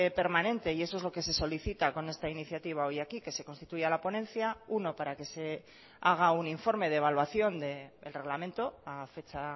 permanente y eso es lo que se solicita con esta iniciativa hoy aquí que se constituya la ponencia uno para que se haga un informe de evaluación del reglamento a fecha